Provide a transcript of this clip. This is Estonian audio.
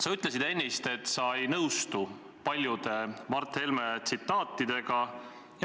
Sa ütlesid ennist, et sa ei nõustu paljude Mart Helme tsitaatidega.